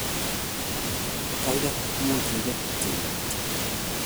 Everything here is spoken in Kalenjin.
Gaigai, much igetyi Mutyo?